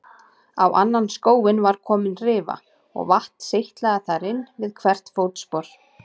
Á annan skóinn var komin rifa og vatn seytlaði þar inn við hvert fótspor.